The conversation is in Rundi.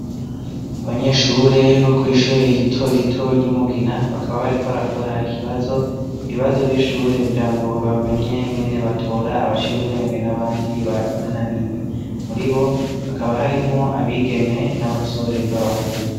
abanyeshure bo kw'ishure rito rito ry'umugina bakaba bariko barakora ikibazo ibibazo b'ishure kugirango bamenye ngene batora abaciye ubwenge n'abandi bananiwe muribo bakaba harimo abigeme n'abasore b'abahungu